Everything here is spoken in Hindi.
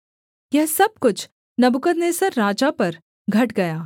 यह सब कुछ नबूकदनेस्सर राजा पर घट गया